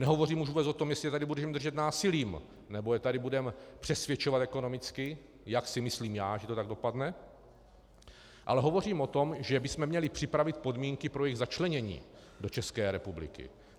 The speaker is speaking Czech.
Nehovořím už vůbec o tom, jestli je tady budeme držet násilím, nebo je tady budeme přesvědčovat ekonomicky, jak si myslím já, že to tak dopadne, ale hovořím o tom, že bychom měli připravit podmínky pro jejich začlenění do České republiky.